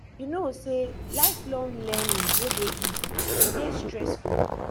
you no know sey lifelong learning no dey easy e dey stressful